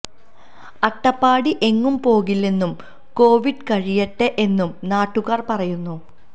അട്ടപ്പാടി എങ്ങും പോകില്ലെന്നും കോവിഡ് കഴിയട്ടേ എന്നും നാട്ടുകാര് പറയുന്നു